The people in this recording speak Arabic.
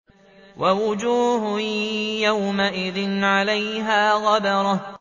وَوُجُوهٌ يَوْمَئِذٍ عَلَيْهَا غَبَرَةٌ